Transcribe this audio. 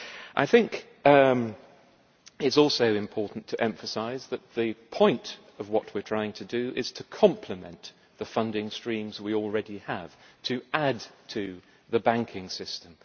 It is also important to emphasise that the point of what we are trying to do is to complement the funding streams we already have and to add to the banking system.